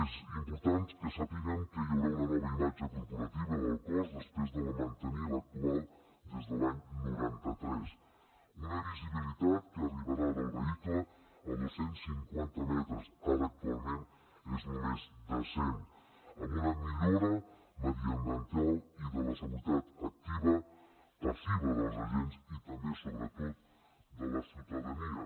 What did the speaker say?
és important que sàpiguen que hi haurà una nova imatge corporativa del cos després de mantenir l’actual des de l’any noranta tres una visibilitat que arribarà del vehicle a dos cents i cinquanta metres ara actualment és només de cent amb una millora mediambiental i de la seguretat activa i passiva dels agents i també sobretot de la ciutadania